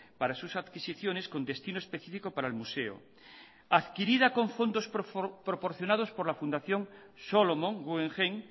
para sus adquisiciones con destino específico para el museo adquirida con fondos proporcionados por la fundación solomon guggenheim